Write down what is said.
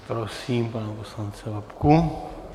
Prosím pana poslance Babku.